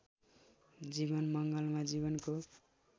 जीवन मङ्गलमा जीवनको